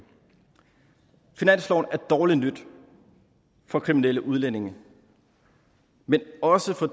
finansloven er dårligt nyt for kriminelle udlændinge men også for